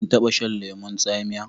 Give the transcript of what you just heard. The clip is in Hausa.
Kin taba shan lemon tsamiya?